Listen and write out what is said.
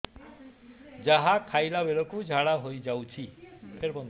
ଯାହା ଖାଇଲା ବେଳକୁ ଝାଡ଼ା ହୋଇ ଯାଉଛି